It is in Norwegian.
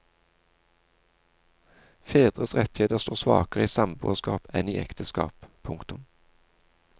Fedres rettigheter står svakere i samboerskap enn i ekteskap. punktum